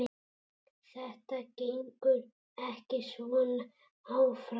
Þetta gengur ekki svona áfram.